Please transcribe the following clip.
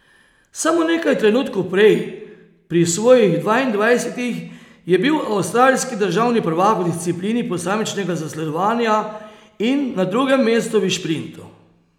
Samo nekaj trenutkov prej, pri svojih dvaindvajsetih, je bil avstralski državni prvak v disciplini posamičnega zasledovanja in na drugem mestu v šprintu.